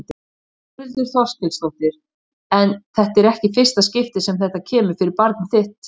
Þórhildur Þorkelsdóttir: En þetta er ekki í fyrsta skipti sem þetta kemur fyrir barnið þitt?